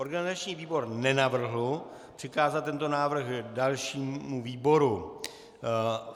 Organizační výbor nenavrhl přikázat tento návrh dalšímu výboru.